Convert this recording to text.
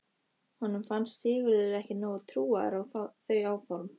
Honum fannst Sigurður ekki nógu trúaður á þau áform.